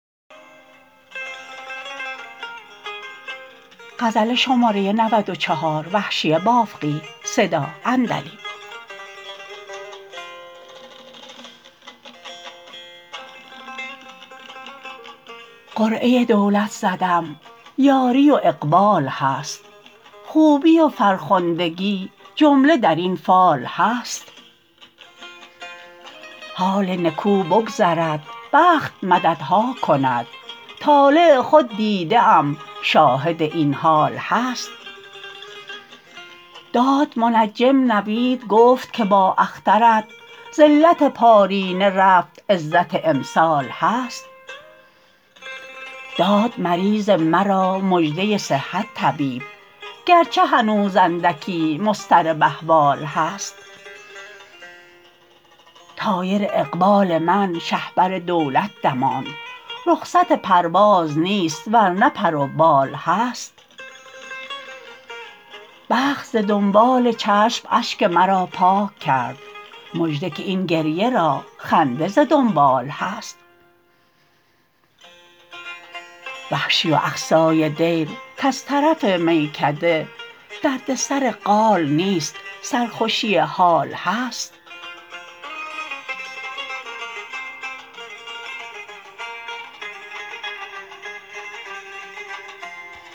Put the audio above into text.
قرعه دولت زدم یاری و اقبال هست خوبی و فرخندگی جمله در این فال هست حال نکو بگذرد بخت مددها کند طالع خود دیده ام شاهد این حال هست داد منجم نوید گفت که با اخترت ذلت پارینه رفت عزت امسال هست داد مریض مرا مژده صحت طبیب گرچه هنوز اندکی مضطرب احوال هست طایر اقبال من شهپر دولت دماند رخصت پرواز نیست ورنه پر وبال هست بخت ز دنبال چشم اشک مرا پاک کرد مژده که این گریه را خنده ز دنبال هست وحشی و اقصای دیر کز طرف میکده دردسر قال نیست سر خوشی حال هست